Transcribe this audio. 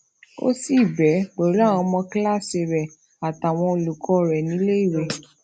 ó sì ṣe béè pèlú àwọn ọmọ kíláàsì rè àtàwọn olùkó rè nílé ìwé